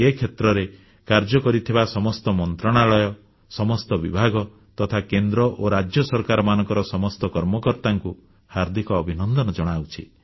ଏ କ୍ଷେତ୍ରରେ କାର୍ଯ୍ୟ କରିଥିବା ସମସ୍ତ ମନ୍ତ୍ରଣାଳୟ ସମସ୍ତ ବିଭାଗ ତଥା କେନ୍ଦ୍ର ଓ ରାଜ୍ୟ ସରକାରମାନଙ୍କର ସମସ୍ତ କର୍ମକର୍ତ୍ତାଙ୍କୁ ହାର୍ଦ୍ଦିକ ଅଭିନନ୍ଦନ ଜଣାଉଛି